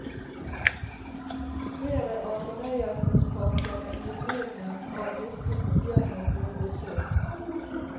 Flere av fonøyelsesparkene i omegnen av disse byene ble besøkt.